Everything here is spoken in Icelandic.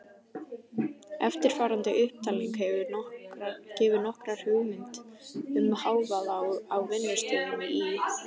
Eftirfarandi upptalning gefur nokkra hugmynd um hávaða á vinnustöðum í